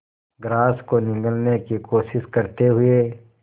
grass को निगलने की कोशिश करते हुए